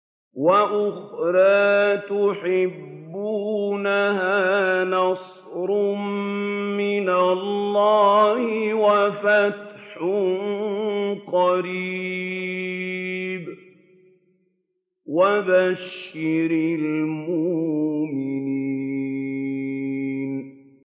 وَأُخْرَىٰ تُحِبُّونَهَا ۖ نَصْرٌ مِّنَ اللَّهِ وَفَتْحٌ قَرِيبٌ ۗ وَبَشِّرِ الْمُؤْمِنِينَ